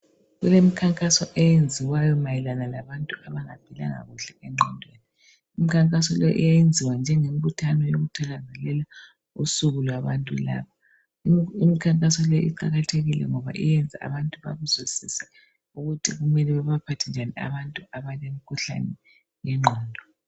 Kule mikhankaso enziwayo mayelana labantu abangaphilanga kuhle engqondweni. Imikhankaso leyo yenziwa njengembuthano okuthakazelela unsuku labantu laba. Imikhankaso leyo iqhakathekile ngoba yenza abantu bakuzwisise ukuthi kumele babaphathe njani abantu abale mikhuhlane yengqondo.